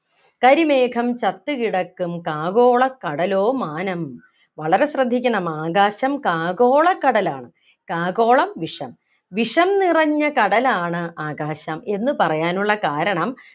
കരിമേഘം ചത്തുകിടക്കും കാകോളക്കടലോ മാനം വളരെ ശ്രദ്ധിക്കണം ആകാശം കാകോളക്കടലാണ് കാകോളം വിഷം വിഷം നിറഞ്ഞ കടലാണ് ആകാശം എന്ന് പറയാനുള്ള കാരണം